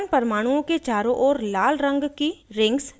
carbon परमाणुओं के चारों ओर लाल rings की rings दिखाई देती हैं